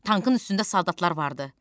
Tankın üstündə soldatlar vardı.